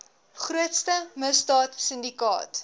grootste misdaad sindikaat